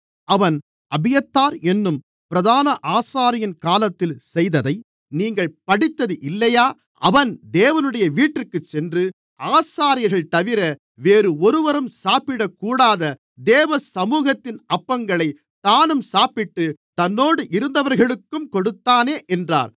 அவன் அபியத்தார் என்னும் பிரதான ஆசாரியன் காலத்தில் செய்ததை நீங்கள் படித்தது இல்லையா அவன் தேவனுடைய வீட்டிற்கு சென்று ஆசாரியர்கள்தவிர வேறு ஒருவரும் சாப்பிடக்கூடாத தேவ சமுகத்தின் அப்பங்களைத் தானும் சாப்பிட்டுத் தன்னோடு இருந்தவர்களுக்கும் கொடுத்தானே என்றார்